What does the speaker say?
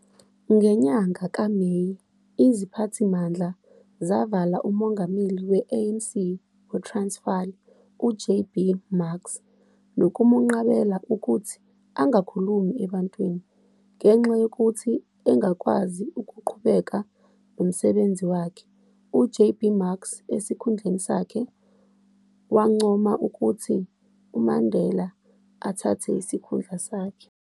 Ngenyanga kaMeyi, iziphathimandla zavala uMongameli we-ANC weTransfali, u-J. B. Marks nokumqabela ukuthi angakhulumi ebantwini, ngenxa yokuthi engakwazi ukuqhubeka nomsebenzi wakhe u-J. B. Marks esikhundleni sakhe, wancoma ukuthi uMandela athathe isikhundla sakhe.